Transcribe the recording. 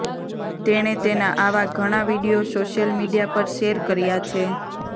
તેણે તેના આવા ઘણા વીડિયો સોશિયલ મીડિયા પર શેર કર્યા છે